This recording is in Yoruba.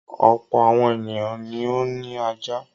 Ọ̀pọ̀ àwọn ènìyàn ni ó ní ajá.